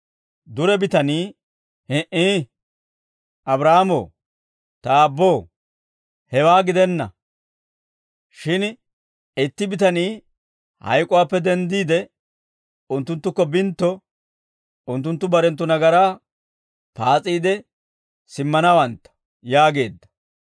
«Dure bitanii, ‹Hi"ii; Abraahaamo, ta aabboo, hewaa gidenna; shin itti bitanii hayk'uwaappe denddiide, unttunttukko bintto, unttunttu barenttu nagaraa paas'iide, simmanawantta› yaageedda.